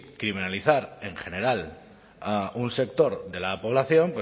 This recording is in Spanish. criminalizar en general a un sector de la población